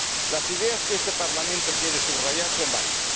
Las ideas que este Parlamento quiere subrayar son varias.